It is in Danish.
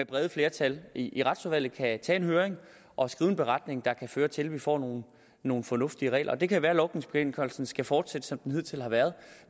bredt flertal i retsudvalget kan tage en høring og skrive en beretning der kan føre til at vi får nogle nogle fornuftige regler det kan være at logningsbekendtgørelsen skal fortsætte som den hidtil har været